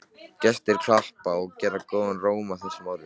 Gestir klappa og gera góðan róm að þessum orðum.